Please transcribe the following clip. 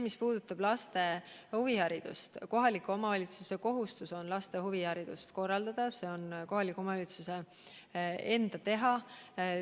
Mis puudutab laste huviharidust, siis kohaliku omavalitsuse kohustus on laste huviharidust korraldada, see on kohaliku omavalitsuse enda teha.